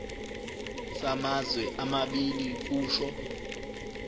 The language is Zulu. samazwe amabili kusho